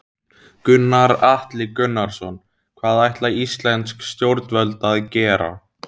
Gunnar Atli Gunnarsson: Hvað ætla íslensk stjórnvöld að gera?